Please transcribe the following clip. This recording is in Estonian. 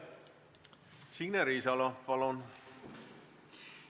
Signe Riisalo, palun!